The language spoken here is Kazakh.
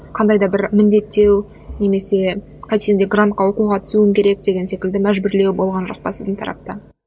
қандай да бір міндеттеу немесе қайтсең де грантқа оқуға түсуің керек деген секілді мәжбүрлеу болған жоқ па сіздің тарапта